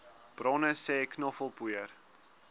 bronne sê knoffelpoeier